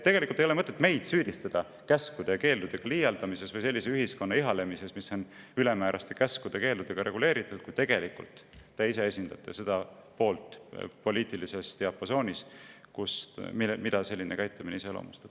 Ei ole mõtet süüdistada meid käskude ja keeldudega liialdamises või sellise ühiskonna ihalemises, mis on reguleeritud ülemääraste käskude-keeldudega, kui tegelikult te ise esindate poliitilises diapasoonis seda poolt, mida selline käitumine iseloomustab.